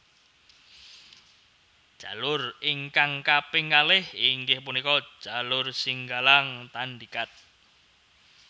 Jalur ingkang kaping kalih inggih punika jalur Singgalang Tandikat